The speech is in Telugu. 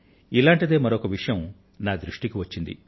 ఇటువంటిదే మరొక విషయం నా దృష్టికి వచ్చింది